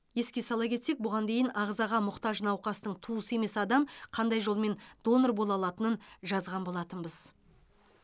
еске сала кетсек бұған дейін ағзаға мұқтаж науқастың туысы емес адам қандай жолмен донор бола алатынын жазған болатынбыз